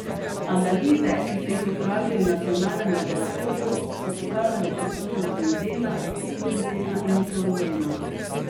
Analize, ki so jih opravili v nacionalnem laboratoriju, so pokazale prisotnost benzena, etilbenzena in toluena.